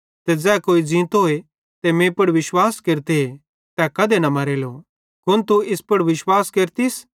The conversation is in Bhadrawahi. ते ज़ै कोई ज़ींतोए ते मीं पुड़ विश्वास केरते तै कधे न मरेलो कुन तू इस पुड़ विश्वास केरचस